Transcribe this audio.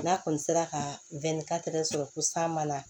N'a kɔni sera ka sɔrɔ ko san ma na